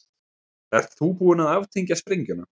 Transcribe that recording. Ert þú búin að aftengja sprengjuna?